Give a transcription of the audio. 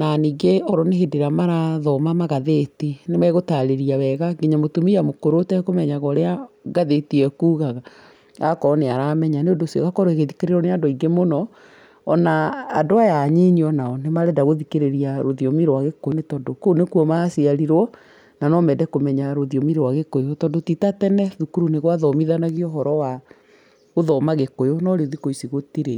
na ningĩ okorwo nĩ hĩndĩ ĩrĩa marathoma magathĩti, nĩ magũtarĩrĩa wega nginya mũtumia mũkũrũ ũtekũmenyaga ũrĩa ngathĩti ĩyo ĩkugaga agakorwo nĩ aramenya, nĩ ũndũ ũcio ĩgakorwo ĩgĩthikĩrĩrio nĩ andũ aingĩ mũno, ona andũ aya anyinyi o nao nĩ marenda gũthikĩrĩria rũthiomi rwa gĩkũyũ nĩ gũkorwo kũu nĩ kuo maciarirwo na no mende kũmenya rũthiomi rwa gĩkũyũ, tondũ ti ta tene thukuru nĩ gwathomithanagio ũhoro wa gũthoma gĩkũyũ no rĩu thikũ ici gũtirĩ.